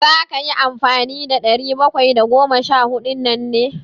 Za ka yi amfani da ɗari bakwai da goma sha huɗun nan ne?